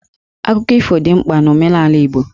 Akụkọ ifo dị mkpa n'omenala Igbo.